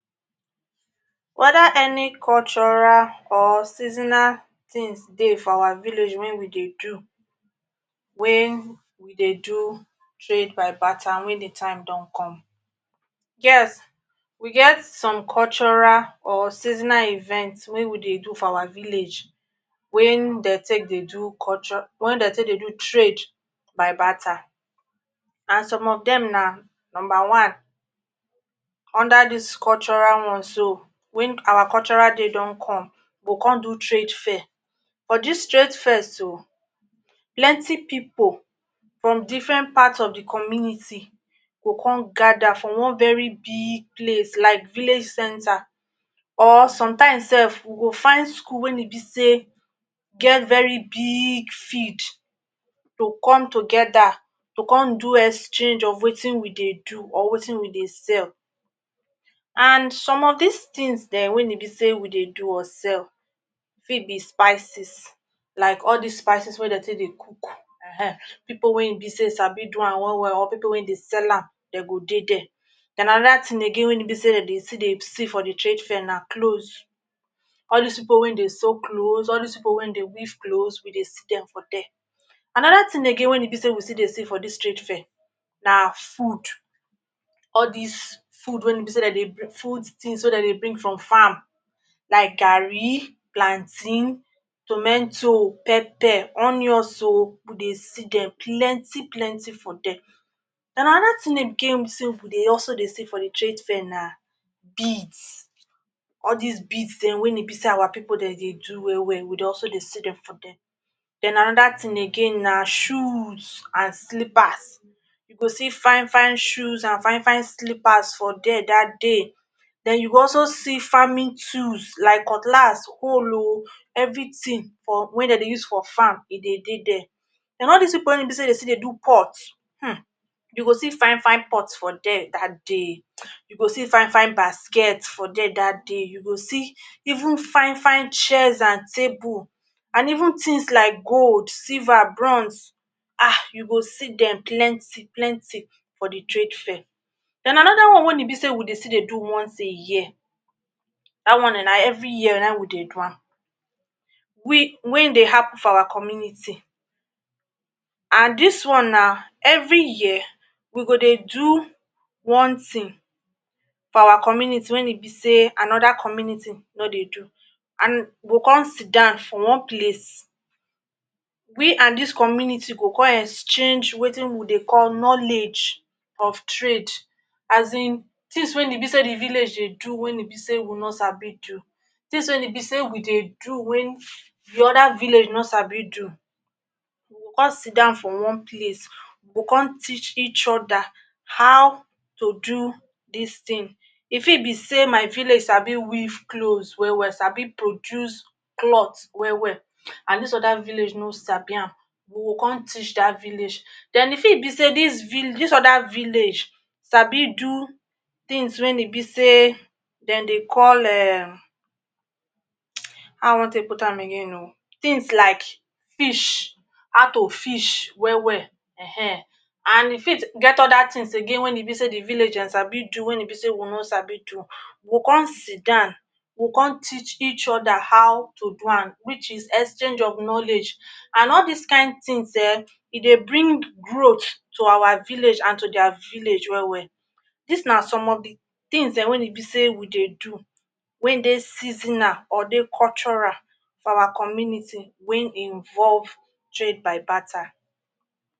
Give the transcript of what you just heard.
Whether any cultural or seasonal things dey for our village wey we dey do when we dey do trade by barter when de time don come. Yes, we get some cultural or seasonal events wey we dey do for our village wen dey take dey do cultural wey dey take dey do trade by barter and some of dem na number one under dis cultural ones so when our cultural day don come we go come do trade fair for dis trade fair so, plenty pipo from different part of de community go come gather for one very big place like village center or sometimes sef we go find skul wen e be say get very big field to come together to come do exchange of wetin we dey do or wetin we dey sell and some of dis things dem wen e be wey sey we dey do or sell fit be spices like all dis spices wey dey take dey cook um pipo wey im be sey sabi do am well well or pipul wey dey sell am dey go dey dia then another thing again wey e be sey dey still dey see for dey trade fair na clothes all dis pipul wey dem dey sow clothes, all dis pipul wey dem dey weave clothes we dey see dem for there. Another thing again wey e be sey we still dey see for dis trade fair na food all dis food wey e be sey food things wey e be sey dem dey bring from farm like garri, plantain, tomentoe, pepper, onions oo we dey see dem plenty plenty for dere. Then another thing again we dey also dey see for trade fair na beads all dis beads dem wey e be sey our pipul dey do well well we also dey see dem for dere. Then another thing again na shoes and slippers you go see fine fine shoes and fine fine slippers for dere dat day. Then you go also see farming tools like cutlass, hole oo everything dey dey use for am e dey dey dia and all dis people wey e be sey de dey pots um you go see fine fine pots for dia. Dat day you go see fine fine baskets for dia dat day, you go see even fine fine chairs and table and even things like gold, silver, bronze um you go see dem plenty plenty for dey trade fair. Then another one when e be sey we still dey go once a year dat one na every year na we dey do am we wey dey happen for our community and dis one na every year we go dey do one thing for our community when e be sey another community no dey do and we go come sidon for one place we and dis community go come exchange wetin we dey call knowledge of trade asin tins when e be say the village dey do when e be sey we no sabi do things when e be sey we dey do the other village no sabi do we go come sidon for one place we go come teach each other how to do dis thing e fit be sey my village sabi weave clothes well well sabi produce clots well well na dis other village no sabi am we go come teach dat village and e fit be sey dis other village sabi do things when e be sey dey call um how i go take put am again oo tins like fish how to fish well well[um] and e fit get other things again when e be sey dey villagers fit do wey e be sey we no sabi do, we go come sidon we go come teach each other how to do am which is exchange of knowledge and all dis kind things um e dey bring growth to our village and to dia village well well dis na some of dey things dem wey e be sey we dey do wey wey dey seasonal or dey cultural four our community when involve trade by barter.